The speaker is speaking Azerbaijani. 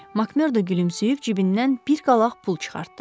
Makmerda gülümsüyüb cibindən bir qalaq pul çıxartdı.